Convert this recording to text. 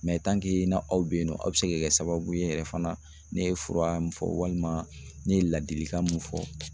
na aw bɛ yen nɔ a bɛ se ka kɛ sababu ye yɛrɛ fana ne ye fura min fɔ walima ne ye ladilikan min fɔ.